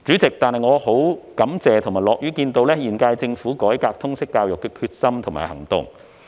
然而，我感謝並樂見現屆政府改革通識教育的決心和行動。